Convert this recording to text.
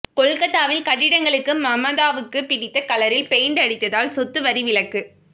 கொல்கத்தாவில் கட்டிடங்களுக்கு மமதாவுக்கு பிடித்த கலரில் பெயிண்ட் அடித்தால் சொத்து வரி விலக்கு